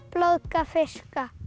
blóðga fiska